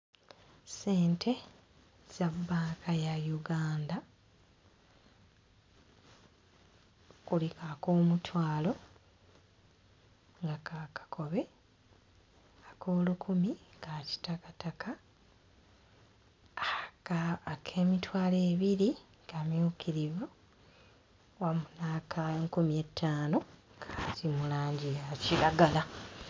Ssente za bbanka ya Uganda kuliko ak'omutwalo n'aka kakobe ak'olukumi ka kitakataka aakaa ak'emitwalo ebiri kamyukirivu wamu n'aka nkumi ettaano kali mu langi ya kiragala.